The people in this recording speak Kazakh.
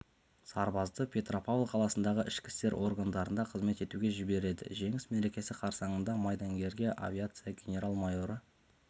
сарбазды петропавл қаласындағы ішкі істер органдарында қызмет етуге жібереді жеңіс мерекесі қарсаңында майдангерге авиация генерал-майоры